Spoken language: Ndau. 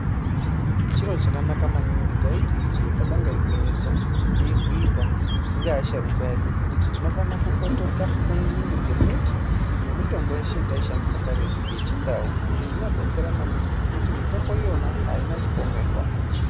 Chiro chakanaka maningi, taiti ijee kabanga igwinyiso teibuyirwa ngeasharukwa edu kuti tinofana kukotoka kunzinde dzemiti nemitombo yeshe yetaishandisa karetu, yeChiNdau. Izvi zvinobetsera maningi nekuti mitombo iyona haina chipomerwa.